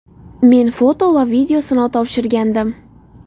Men foto va video sinov topshirgandim.